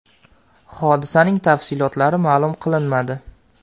Hodisaning tafsilotlari ma’lum qilinmadi.